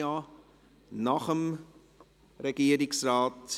– Nach dem Regierungsrat.